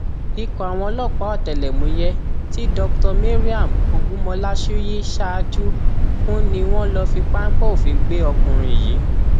ikọ àwọn ọlọpàá ọtẹlẹmúyẹ tí dr mariam ogunmọláṣùyí ṣáájú fún ni wọn lọọ fi páńpẹ òfin gbé ọkùnrin yìí